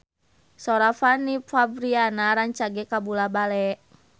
Sora Fanny Fabriana rancage kabula-bale